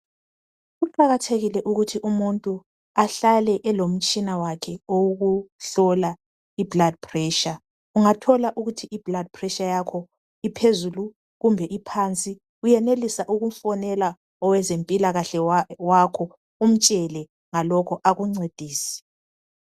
Kuqakathekile ukuthi umuntu ahlale elomtshina wakhe owokuhlola blood pressure ungathola ukuthi iblood pressure yakho iphezulu kumbe iphansi uyenelisa ukufonela owezempilakahle wakho umtshele ngalokho akuncedise.